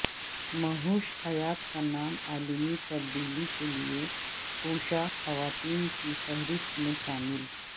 مہوش حیات کا نام عالمی تبدیلی کے لئے کوشاں خواتین کی فہرست میں شامل